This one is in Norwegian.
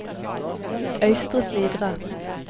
Øystre Slidre